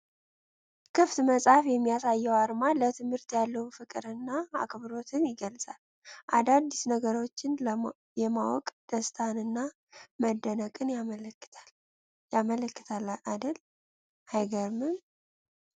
ክፍት መጽሐፍ የሚያሳየው አርማ ለትምህርት ያለውን ፍቅር እና አክብሮት ይገልፃል። አዳዲስ ነገሮችን የማወቅ ደስታን እና መደነቅን ያመላክታል አደል አይገርምም ።